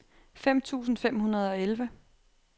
fem tusind fem hundrede og elleve